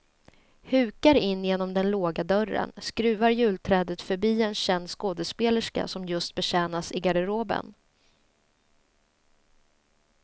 Hukar in genom den låga dörren, skruvar julträdet förbi en känd skådespelerska som just betjänas i garderoben.